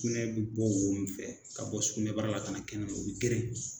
Sukunɛ be bɔ wo mun fɛ ka bɔ sukunɛ bara la , ka na kɛnɛma o bi geren.